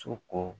So ko